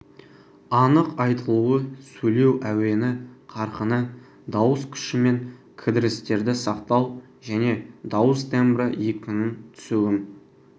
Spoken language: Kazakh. анық айтылуы сөйлеу әуені қарқыны дауыс күші мен кідірістерді сақтау және дауыс тембрі екпіннің түсуін